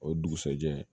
O dugusajɛ